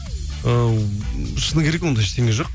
ыыы шыны керек ондай ештеңе жоқ